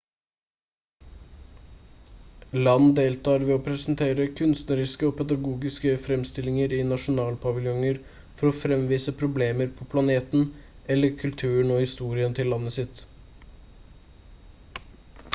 land deltar ved å presentere kunstneriske og pedagogiske fremstillinger i nasjonalpaviljonger for å fremvise problemer på planeten eller kulturen og historien til landet sitt